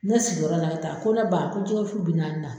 Ne sigiyɔrɔ la ta ko ne ba ko jɛgɛ wusu bi naani na.